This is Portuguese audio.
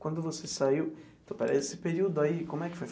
Quando você saiu, esse período aí, como é que foi?